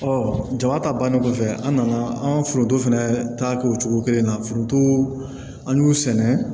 jama ta bannen kɔfɛ an nana an foronto fɛnɛ ta kɛ o cogo kelen na foronto an y'u sɛnɛ